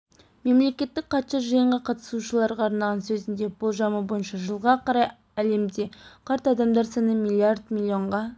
мемлекеттік хатшы жиынға қатысушыларға арнаған сөзінде болжамы бойынша жылға қарай әлемде қарт адамдар саны миллиард миллионға